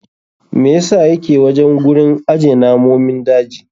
Me yasa yake wajen gurin aje namomin daji?